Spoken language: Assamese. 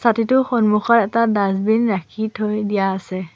ছাতিটোৰ সন্মুখত এটা ডাছবিন ৰাখি থৈ দিয়া আছে।